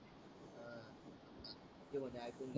ते मन्हे आयकून घे